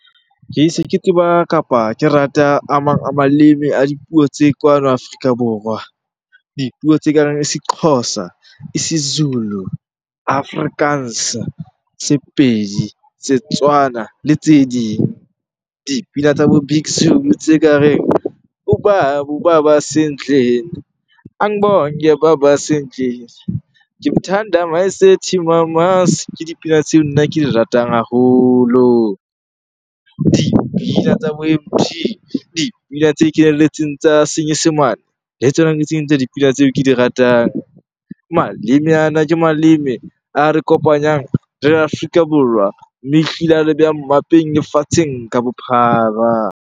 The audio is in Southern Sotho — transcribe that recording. Ke se ke tseba kapa ke rata a mang a maleme a dipuo tse kwano Afrika Borwa. Dipuo tse ka reng Sexhosa, Isizulu, Afrikaans, Sepedi, Setswana le tse ding. Dipina tsa bo Big Zulu tse ka reng . Ke dipina tseo nna ke di ratang haholo. Dipina tsa bo Emtee, dipina tse kenelletseng tsa senyesemane tsona ke tse ding tsa dipina tseo ke di ratang. Maleme ana ke maleme a re kopanyang re le Afrika Borwan mme ehlile a re beha mmapeng lefatsheng ka bophara.